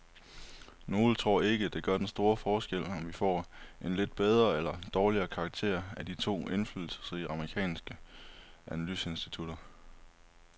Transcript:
Nogle tror ikke, det gør den store forskel, om vi får en lidt bedre eller dårligere karakter af de to indflydelsesrige amerikanske analyseinstitutter.